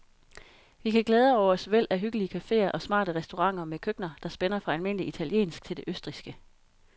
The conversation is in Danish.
Vi kan glæde os over et væld af hyggelige caféer og smarte restauranter med køkkener, der spænder fra almindelig italiensk til det østrigske.